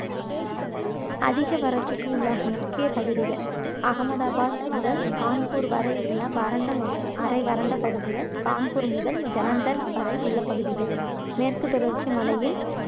அதிக வறட்சிக்கு உள்ளாகும் முக்கிய பகுதிகள் அகமதாபாத் முதல் கான்பூர் வரை உள்ள வறண்ட மற்றும் அரை வறண்ட பகுதிகள் கான்பூர் முதல் ஜலந்தர் வரை உள்ள பகுதிகள் மேற்கு தொடர்ச்சி மலையின்